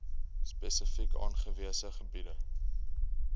spesifiek aangewese gebiede